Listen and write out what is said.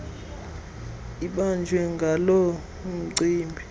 ibanjwe ngaloo mcimbi